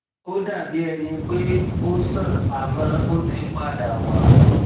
ó dàbí ẹni pé ó sàn àmọ ó ti padà wá